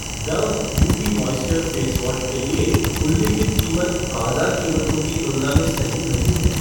Dove beauty moisture face wash के लिए उल्लिखित कीमत बाज़ार कीमतों की तुलना में सही नहीं है।